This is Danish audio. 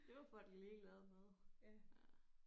Det var for et lille lavede noget